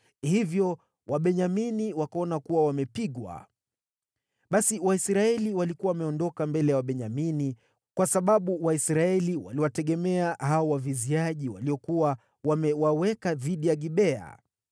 Hivyo Wabenyamini wakaona kuwa wamepigwa. Basi Waisraeli walikuwa wameondoka mbele ya Wabenyamini, kwa sababu Waisraeli waliwategemea hao waviziaji waliokuwa wamewaweka dhidi ya Gibea.